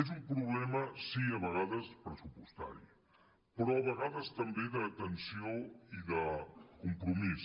és un problema sí a vegades pressupostari però a vegades també d’atenció i de compromís